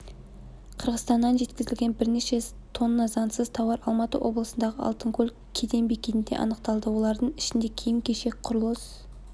қырғызстаннан жеткізілген бірнеше тонна заңсыз тауар алматы облысындағы алтынкөл кеден бекетінде анықталды олардың ішінде киім-кешек құрылыс